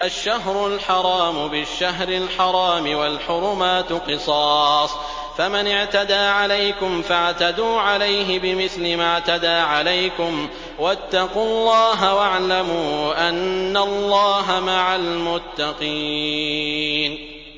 الشَّهْرُ الْحَرَامُ بِالشَّهْرِ الْحَرَامِ وَالْحُرُمَاتُ قِصَاصٌ ۚ فَمَنِ اعْتَدَىٰ عَلَيْكُمْ فَاعْتَدُوا عَلَيْهِ بِمِثْلِ مَا اعْتَدَىٰ عَلَيْكُمْ ۚ وَاتَّقُوا اللَّهَ وَاعْلَمُوا أَنَّ اللَّهَ مَعَ الْمُتَّقِينَ